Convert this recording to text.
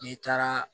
N'i taara